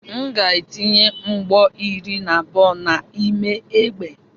M ga-etinye mgbọ iri na abụọ n'ime egbe.